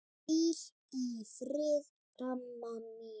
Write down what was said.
Hvíl í friði, amma mín.